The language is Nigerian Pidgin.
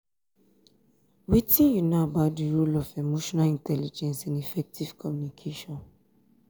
wetin you know about di role of emotional intelligence in effective communication?